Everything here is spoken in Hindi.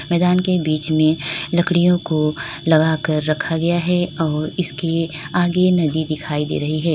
मैदान के बीच में लकड़ियों को लगा कर रखा गया है और इसके आगे नदी दिखाई दे रही है।